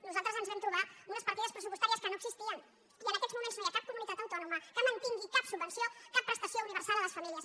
nosaltres ens vam trobar unes partides pressupostàries que no existi·en i en aquests moments no hi ha cap comunitat autò·noma que mantingui cap subvenció cap prestació uni·versal a les famílies